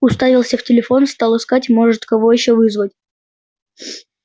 уставился в телефон стал искать может кого ещё вызвать